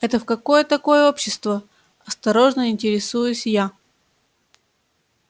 это в какое такое общество осторожно интересуюсь я